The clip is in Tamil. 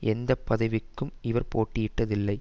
எந்த பதவிக்கும் இவர் போட்டியிட்டதில்லை